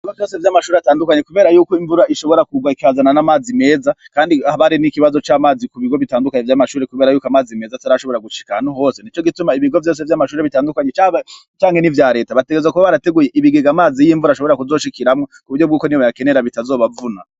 Ibigo vyose vyamashure atandukanye kubera yuko imvura ishobora kugwa ikazana n'amazi meza kandi haba hari nikibazo camazi kubigo bitadukanye vyamashure kubera yuko amazi meza atarashobora gushika ahantu hose nico gituma ibigo vyose vyamashure bitandukanye caba canke nivyareta bategerezwa kuba barateguye ibigega amazi yimvura ashobora kuzoshikiramwo kuburyo bwuko nibayakenera bitazobavuna.